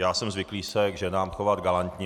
Já jsem zvyklý se k ženám chovat galantně.